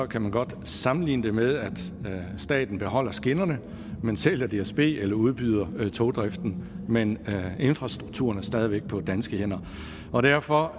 kan man godt sammenligne det med at staten beholder skinnerne men sælger dsb eller udbyder togdriften men infrastrukturen er stadig væk på danske hænder og derfor